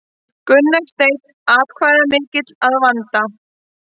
Gunnar Steinn atkvæðamikill að vanda